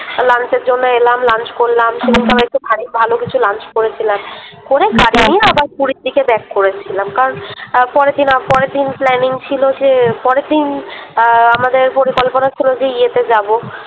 Lunch এর জন্যে এলাম Lunch করলাম সেদিনকে আবার একটু ভারী ভালোবেসে করেছিলাম। করে গাড়ি নিয়ে আবার পুরীর দিকে Back করেছিলাম । কারণ আহ পরের দিন আহ পরের দিন Planning ছিল যে পরের দিন আ আমাদের পরিকল্পনা ছিল যে ইতে যাবো